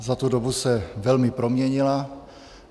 Za tu dobu se velmi proměnila.